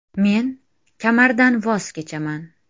Men kamardan voz kechaman.